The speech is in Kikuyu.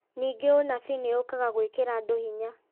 Ningĩ ũnabii nĩ ũũkaga gwĩkĩra andũ hinya